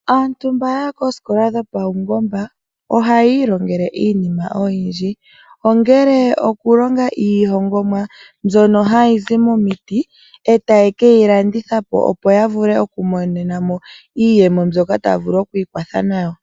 Aantu mba yaya koo skola dho pau mbomba, ohaya ilongele iinima oyindji, ongele oku longa iihongomwa mbyono hayi zi mo miti, eta ye keyi landithapo opo ya vule oku monenamo iiyemo, mbyoka ta vulu oku ikwatha nayo.